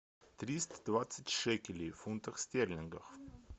триста двадцать шекелей в фунтах стерлингах